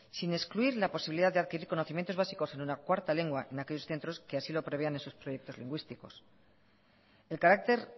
sin excluir la posibilidad de adquirir conocimientos básicos en una cuarta lengua en aquellos centros que así lo prevean en sus proyectos lingüísticos el carácter